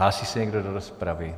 Hlásí se někdo do rozpravy?